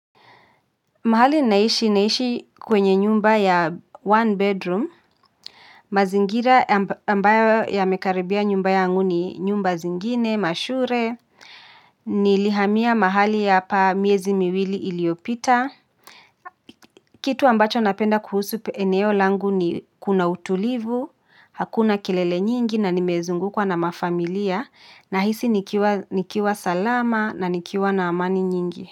Mahali naishi naishi kwenye nyumba ya one bedroom, mazingira ambayo ya mekaribia nyumba ya anguni nyumba zingine, mashure, nilihamiya mahali yapa miezi miwili iliopita. Kitu ambacho napenda kuhusu eneo langu ni kuna utulivu, hakuna kelele nyingi na nimezungukwa na mafamilia na hisi nikiwa salama na nikiwa na amani nyingi.